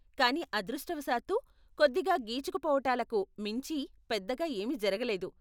కానీ అదృష్టవశాత్తు, కొద్దిగా గీచుకుపోవటాలకు మించి పెద్దగా ఏమీ జరగలేదు.